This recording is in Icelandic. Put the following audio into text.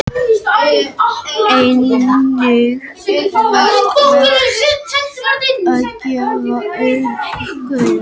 Einnig er vert að gefa gaum að því að hreyfing skipsins miðast öll við vatnið.